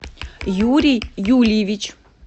юрий юлиевич